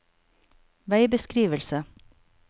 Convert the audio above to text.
veibeskrivelse